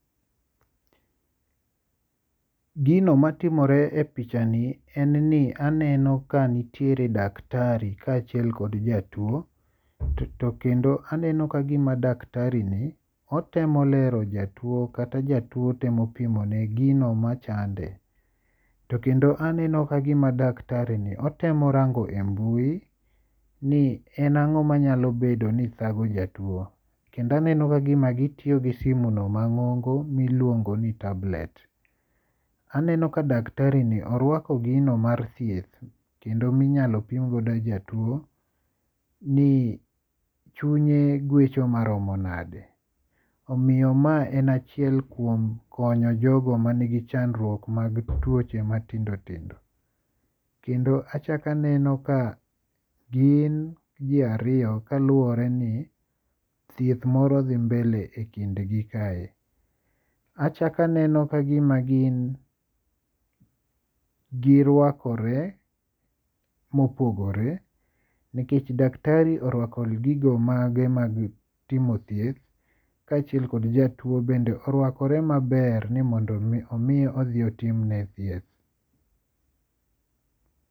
Gino matimore e picha ni en ni aneno ka nitiere daktari ka achiel kod jatuo. To kendo aneno kagima daktari ni otemo lero jatuo kata jatuo temo pimone gino machande. To kendo aneno kagima daktari ni otemo rango e mbui ni en ang'o manyalo bedo ni thago jatuo. Kendo aneno kagima gitiyo gi simo no mang'ongo miluongo ni tablet. Aneno ka daktari ni orwako gino mar thieth kendo minyalo pim godo jatuo ni chunye gwecho maromo nade. Omiyo ma en achiel kuom konyo jogo man gi chandruok mag tuoche matindo tindo. Kendo achak aneno ka gin ji ariyo kaluwore ni thierth moro dhi mbele e kind gi kae. Achak aneno kagima girwakore mopogore. Nikech daktari orwako gigo mage mag timo thieth kachiel kod jatuo bende orwakore maber ni mondo mi omi odhi otimne thieth.